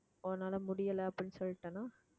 உன்னால முடியலை அப்படின்னு சொல்லிட்டேன்னா